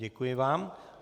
Děkuji vám.